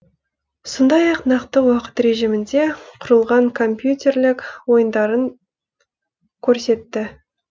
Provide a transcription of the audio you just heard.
сондай ақ нақты уақыт режимінде құрылған компьютерлік ойындарын көрсетті